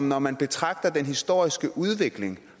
når man betragter den historiske udvikling